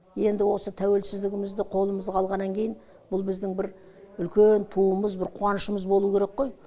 енді осы тәуелсіздігімізді қолымызға алғаннан кейін бұл біздің бір үлкен туымыз бір қуанышымыз болуы керек қой